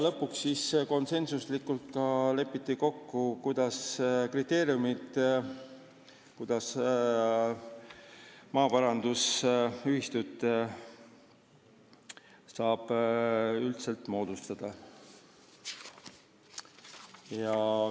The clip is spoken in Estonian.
Lõpuks lepiti konsensusega kokku ka kriteeriumid, kuidas maaparandusühistut saab moodustada.